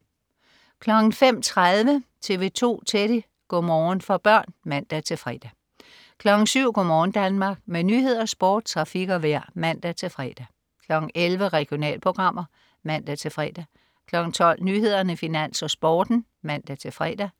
05.30 TV 2 Teddy. Go' morgen for børn (man-fre) 07.00 Go' morgen Danmark. Med nyheder, sport, trafik og vejr (man-fre) 11.00 Regionalprogrammer (man-fre) 12.00 Nyhederne, Finans, Sporten (man-fre)